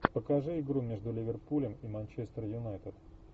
покажи игру между ливерпулем и манчестер юнайтед